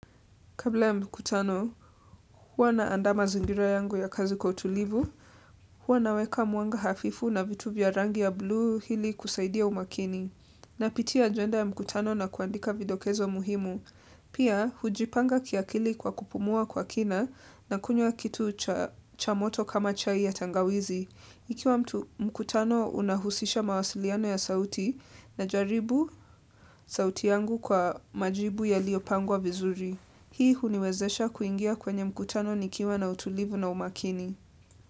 Kabla ya mkutano, huwa na andaa mazingira yangu ya kazi kwa utulivu, huwa naweka mwanga hafifu na vitu vya rangi ya blu hili kusaidia umakini. Napitia agenda ya mkutano na kuandika vidokezo muhimu. Pia, hujipanga kiakili kwa kupumua kwa kina na kunywa kitu cha moto kama chai ya tangawizi. Ikiwa mkutano unahusisha mawasiliano ya sauti na jaribu sauti yangu kwa majibu ya liyopangwa vizuri. Hii huniwezesha kuingia kwenye mkutano nikiwa na utulivu na umakini.